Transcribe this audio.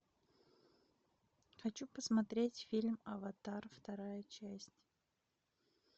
хочу посмотреть фильм аватар вторая часть